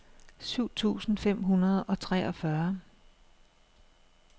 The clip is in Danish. syv tusind fem hundrede og treogfyrre